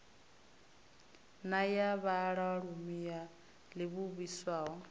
na ya vhaalulwa yo livhiswaho